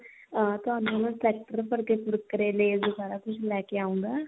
ਅਹ ਤੁਹਾਨੂੰ ਨਾ tractor ਭਰ ਕੇ Kurkure lays ਸਾਰਾ ਕੁੱਝ ਲੈ ਕੇ ਆਉੰਗਾ